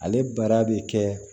Ale baara bɛ kɛ